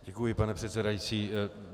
Děkuji, pane předsedající.